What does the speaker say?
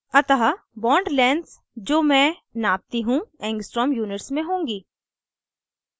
अतः bond lengths जो मैं नापती हूँ angstrom units में होंगी